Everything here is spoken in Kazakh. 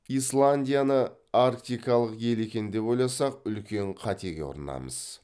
исландияны арктикалық ел екен деп ойласақ үлкен қатеге ұрынамыз